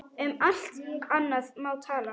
Um allt annað má tala.